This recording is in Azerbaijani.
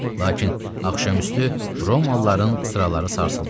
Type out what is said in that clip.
Lakin axşamüstü Romalıların sıraları sarsıldı.